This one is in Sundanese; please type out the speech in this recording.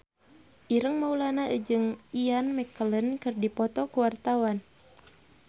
Ireng Maulana jeung Ian McKellen keur dipoto ku wartawan